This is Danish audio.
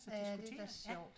Ja det da sjovt